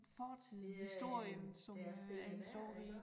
Fortiden historien som øh er det står i